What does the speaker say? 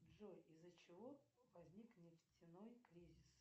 джой из за чего возник нефтяной кризис